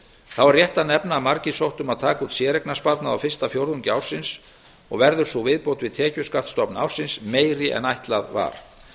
er rétt að nefna að margir sóttu um að taka út séreignarsparnað á fyrsta fjórðungi ársins og verður sú viðbót við tekjuskattsstofn ársins meiri en ætlað var